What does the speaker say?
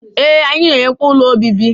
Ee, anyị na-enyekwa ụlọ obibi